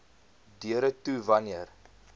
deure toe wanneer